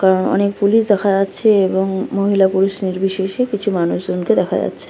কারণ অনেক পুলিশ দেখা যাচ্ছে এবং মহিলা পুরুষ নির্বিশেষে কিছু মানুষজন কে দেখা যাচ্ছে।